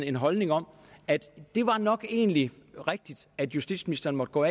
en holdning om at det nok egentlig var rigtigt at justitsministeren måtte gå